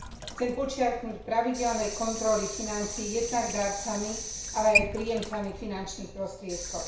Chcem podčiarknuť pravidelné kontroly financií jednak darcami, ale aj príjemcami finančných prostriedkov.